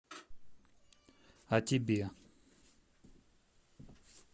а тебе